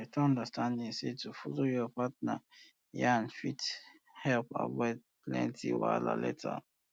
beta understanding say to dey follow your partner yan fit help um avoid plenty um wahala later um